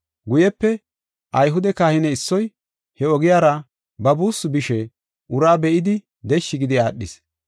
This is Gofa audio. Guyepe, Ayhude kahine issoy he ogiyara ba buussu bishe uraa be7idi deshshi gidi aadhis.